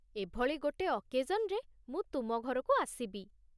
ଏଭଳି ଗୋଟେ ଅକେଜନ୍‌ରେ ମୁଁ ତୁମ ଘରକୁ ଆସିବି ।